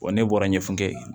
Wa ne bɔra ɲɛfukɛ ye